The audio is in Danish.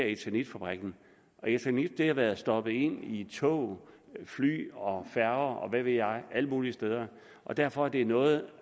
eternitfabrikken eternit har været stoppet ind i tog fly og færger og hvad ved jeg alle mulige steder og derfor er det noget